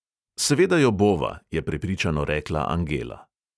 "Seveda jo bova," je prepričano rekla angela.